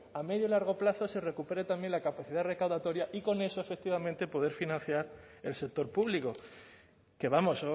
a medio y largo plazo se recupere también la capacidad recaudatoria y con eso efectivamente poder financiar el sector público que vamos